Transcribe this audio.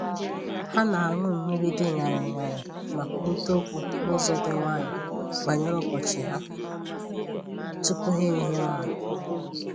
Ha na-aṅụ mmiri dị ñarị ñarị ma kwurịta okwu n'ụzọ dị nwayọọ banyere ụbọchị ha tupu ha ehie ụra